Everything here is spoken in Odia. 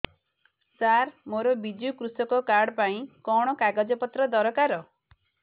ସାର ମୋର ବିଜୁ କୃଷକ କାର୍ଡ ପାଇଁ କଣ କାଗଜ ପତ୍ର ଦରକାର